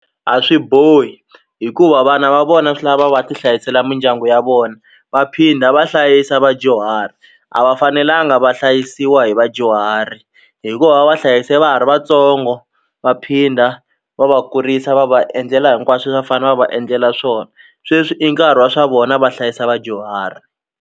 A swi bohi hikuva vana va vona swi lava va ti hlayisela mindyangu ya vona va phinda va hlayisa vadyuhari a va fanelanga va hlayisiwa hi vadyuhari hikuva va va hlayise va ha ri vatsongo va phinda va va kurisa va va endlela hinkwaswo le swa fane va va endlela swona sweswi i nkarhi wa swa vona va hlayisa vadyuhari.